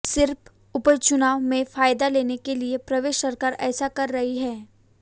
सिर्फ उपचुनाव में फायदा लेने के लिए प्रदेश सरकार ऐसा कर रही है